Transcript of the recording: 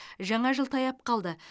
жаңа жыл таяп қалды